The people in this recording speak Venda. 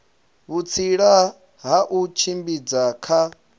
vhutsila ha u tshimbidza kha